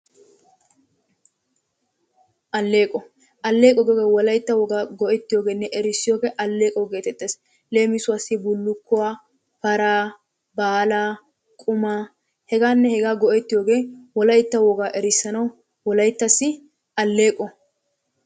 Alleeqquwa; alleeqquwa giyoogee wolaytta wogaa go'ettiyogeenne erisiyoge alleeqqo geetettees, leemmissuwassi bullukkuwa, paraa baalaa, qumaa hegaanne hegaa go'ettiyoge wolaytta wogaa erissanawu wolayttassi alleeqqo.